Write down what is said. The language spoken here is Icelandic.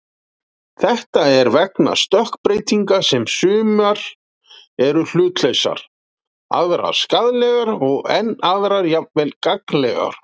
Þetta er vegna stökkbreytinga sem sumar eru hlutlausar, aðrar skaðlegar og enn aðrar jafnvel gagnlegar.